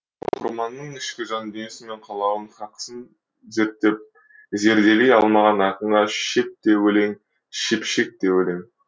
оқырманның ішкі жан дүниесі мен қалауын хақысын зерттеп зерделей алмаған ақынға шөп те өлең шөпшек те өлең